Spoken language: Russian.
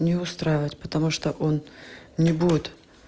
не устраивать потому что он не будет